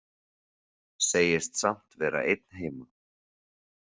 Segist samt vera einn heima.